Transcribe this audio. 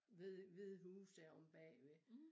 Hvide hvide huse her omme bagved